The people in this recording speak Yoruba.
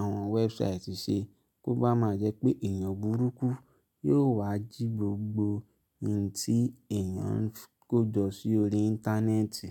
àwọn website ṣe kó bá máa jẹ́ pé èèyàn burúkú yóò wá jí gbogb in tí èèyàn ń kójọ sí orí internet.